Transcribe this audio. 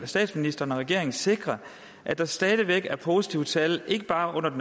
statsministeren og regeringen vil sikre at der stadig væk er positive tal ikke bare